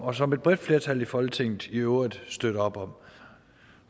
og som et bredt flertal i folketinget i øvrigt støtter op om